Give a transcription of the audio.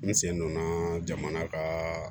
N sen donna jamana ka